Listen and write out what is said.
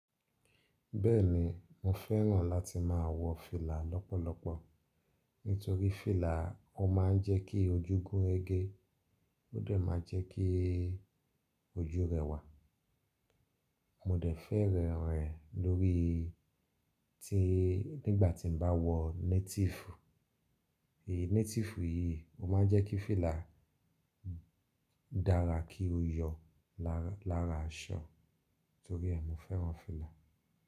Bẹ́ẹ̀ni mo fẹ́ràn láti máa wọ fìlà lọ́pọ̀lọpọ̀ nítorí fìlà ó máa ń jẹ́ kí ojú gún regé, ó dẹ̀ máa jẹ́ kí ojú rẹwà. Mo dẹ̀ fẹ́ràn rẹ̀ lórí tí nígbà tí mo bá wọ native, èyí native yìí ó máa ń jẹ́ kí fìlà dára kí ó yọ lára aṣọ torí ẹ mo fẹ́ràn fìlà.